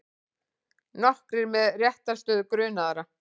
Nokkrir með réttarstöðu grunaðra